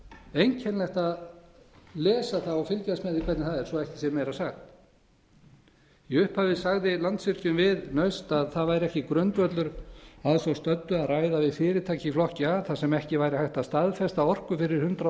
einkennilegt að lesa það og fylgjast með því svo ekki sé meira sagt í upphafi sagði landsvirkjun við naust að það væri ekki grundvöllur að svo stöddu að ræða við fyrirtæki í flokki a þar sem ekki væri hægt að staðfesta orku fyrir hundrað